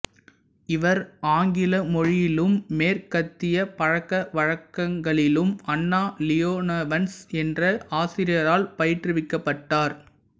இவர் ஆங்கில மொழியிலும் மேற்கத்திய பழக்கவழக்கங்களிலும் அண்ணா லியோனோவன்ஸ் என்ற ஆசிரியரால் பயிற்றுவிக்கப்பட்டார்